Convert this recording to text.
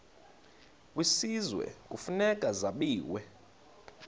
kwisizwe kufuneka zabiwe